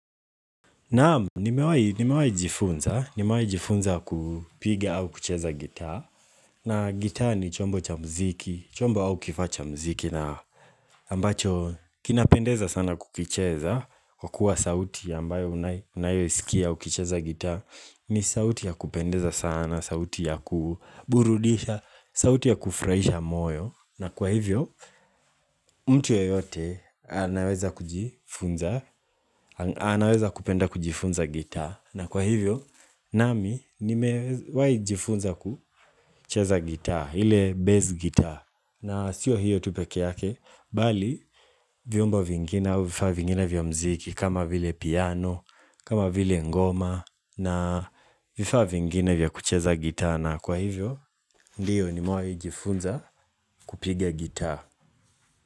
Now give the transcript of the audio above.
Naam, nimewahi jifunza, nimewahi jifunza kupiga au kucheza gita, na gita ni chombo cha mziki, chombo au kifaa cha mziki ambacho kinapendeza sana kukicheza, kwa kuwa sauti ambayo unayoisikia ukicheza gita, ni sauti ya kupendeza sana, sauti ya kuburudisha, sauti ya kufurahisha moyo, na kwa hivyo, mtu yeyote anaweza kujifunza, anaweza kupenda kujifunza gita, na kwa hivyo, nami nimewahi jifunza kucheza gita, ile bass gita na sio hiyo tu peke yake, bali vyombo vingine au vifaa vingine vya muziki kama vile piano, kama vile ngoma na vifaa vingine vya kucheza gita na kwa hivyo, ndiyo nimewahi jifunza kupiga gita.